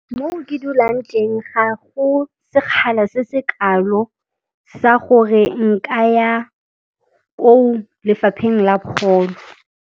Mo ke dulang teng ga go sekgala se se kalo sa gore nka ya ko lefapheng la pholo.